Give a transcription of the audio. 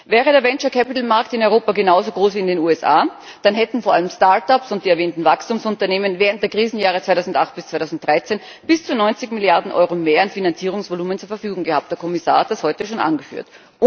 Wäre der Venture Capital Markt in Europa genauso groß wie in den USA, dann hätten vor allem Start ups und die erwähnten Wachstumsunternehmen während der Krisenjahre 2008 bis 2013 bis zu 90 Milliarden Euro mehr an Finanzierungsvolumen zur Verfügung gehabt der Kommissar hat das heute schon angeführt.